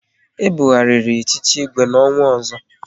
E bughariri echichi Igwe n'ọnwa ọzọ